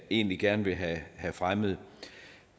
egentlig gerne vil have fremmet